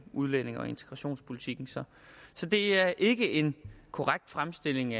udlændinge og integrationspolitikken så det er ikke en korrekt fremstilling